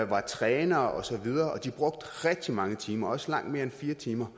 var trænere og så videre og de brugte rigtig mange timer også langt mere end fire timer